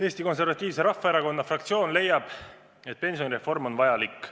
Eesti Konservatiivse Rahvaerakonna fraktsioon leiab, et pensionireform on vajalik.